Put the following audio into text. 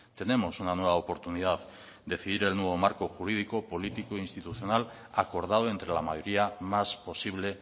tenemos una nueva oportunidad de decidir el nuevo marco jurídico político y institucional acordado entre la mayoría más posible